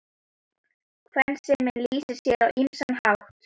Kvensemin lýsir sér á ýmsan hátt.